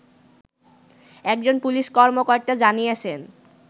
একজন পুলিশ কর্মকর্তা জানিয়েছেন